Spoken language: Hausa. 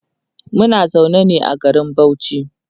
Muna zaune ne a garin Bauchi